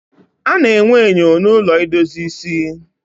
A na-enwe enyo na ụlọ idozi ịsị